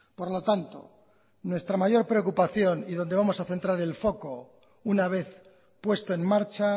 por lo tanto nuestra mayor preocupación y donde vamos a centrar el foco una vez puesto en marcha